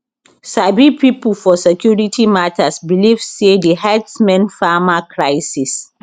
sabi pipo for security matters believe say di herdsmen farmer crises